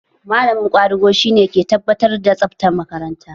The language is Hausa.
Malamin ƙwadago shi ne ke tabbatar da tsabtar makaranta.